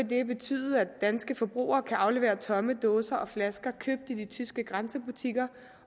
det betyde at danske forbrugere kan aflevere tomme dåser og flasker købt i de tyske grænsebutikker